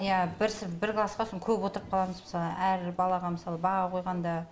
иә бір бір классқа сон көп отырып қаламыз мысалы әр балаға мысалы баға қойғанда